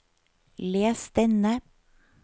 les denne